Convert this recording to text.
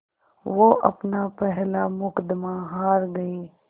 वो अपना पहला मुक़दमा हार गए